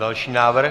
Další návrh.